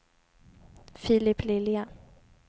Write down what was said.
Filip Lilja